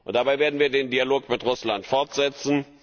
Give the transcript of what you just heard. Dabei werden wir den Dialog mit Russland fortsetzen.